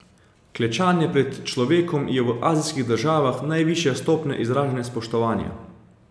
Klečanje pred človekom je v azijskih državah najvišja stopnja izražanja spoštovanja.